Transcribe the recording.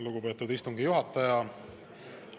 Lugupeetud istungi juhataja!